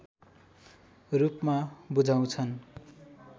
रूपमा बुझाउँछन्